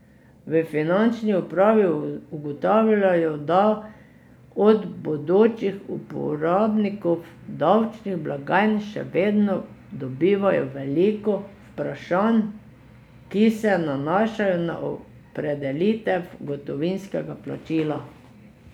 V finančni upravi ugotavljajo, da od bodočih uporabnikov davčnih blagajn še vedno dobivajo veliko vprašanj, ki se nanašajo na opredelitev gotovinskega plačila.